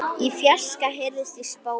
Í fjarska heyrist í spóa.